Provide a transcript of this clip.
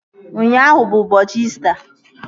Ụnyaahụ bụ ụbọchị İsita